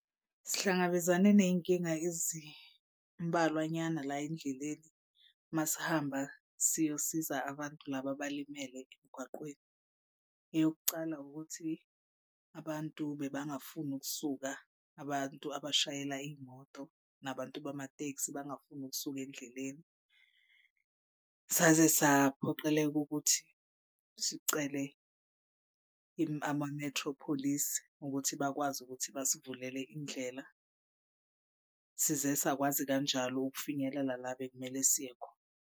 Sihlangabezane ney'nkinga ezimbalwa nyana la endleleni uma sihamba siyosiza abantu laba abalimele emgwaqweni. Eyokucala ukuthi abantu bebangafuni ukusuka abantu abashayela iy'moto nabantu bamateksi bangafuni ukusuka endleleni. Saze saphoqeleka ukuthi sicele ama-metro police ukuthi bakwazi ukuthi basivulele indlela, size sakwazi kanjalo ukufinyelela la bekumele siye khona.